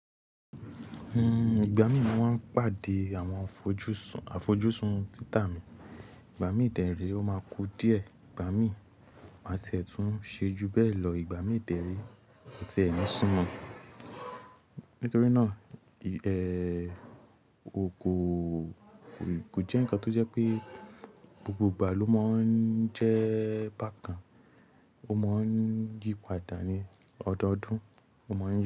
Hmm, ìgbà mí máa ń pàdé àwọn àfojúsùn títà mi, ìgbà mí ìtẹ̀rí ó máa ku díẹ̀, ìgbà mí máa tiẹ̀ tún ṣejú bẹ́ẹ̀ lọ, ìgbà míì dẹ̀ nii, mi ò tiẹ̀ ń súnmọ́. Nítorí náà, ẹ́, o kò, kò jẹ́ ǹkan tó jẹ́ pé gbogbo ìgbà ló máa ń jẹ́ bákan. Ó máa ń yípadà ní ọdọdún, ó máa ń jẹ́